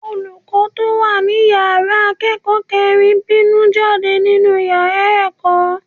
Olùkọ́ tó wà ní ìyára akẹ́kọ̀ọ́ kẹrin bínú jáde nínú yára ẹ̀kọ́.